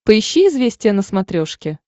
поищи известия на смотрешке